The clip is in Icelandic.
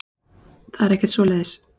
Það er ekkert svoleiðis.